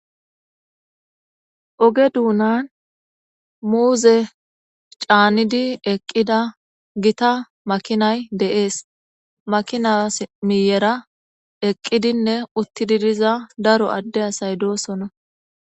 Oge duunan muuze caanidi eqqida gita makinay deees makinas miyera eqqidinne uttididiza daro adde asay doosona.